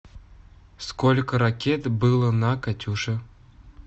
сколько ракет было на катюше